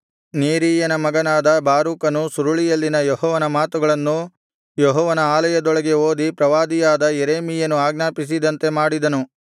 ನೇರೀಯನ ಮಗನಾದ ಬಾರೂಕನು ಸುರುಳಿಯಲ್ಲಿನ ಯೆಹೋವನ ಮಾತುಗಳನ್ನು ಯೆಹೋವನ ಆಲಯದೊಳಗೆ ಓದಿ ಪ್ರವಾದಿಯಾದ ಯೆರೆಮೀಯನು ಆಜ್ಞಾಪಿಸಿದಂತೆ ಮಾಡಿದನು